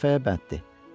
Bir dəfəyə bəsdir.